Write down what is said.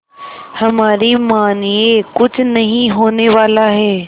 हमारी मानिए कुछ नहीं होने वाला है